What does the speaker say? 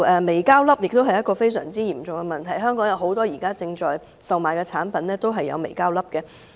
微膠粒是一個非常嚴重的問題，香港現時售賣的很多產品都有微膠粒。